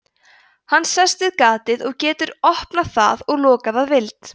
hann sest við gatið og getur opnað það og lokað að vild